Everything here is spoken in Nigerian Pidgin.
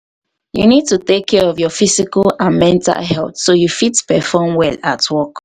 you need to take care of your physical and mental healthso you fit perform well at work.